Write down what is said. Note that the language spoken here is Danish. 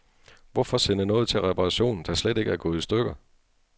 Hvorfor sende noget til reparation, der slet ikke er gået i stykker.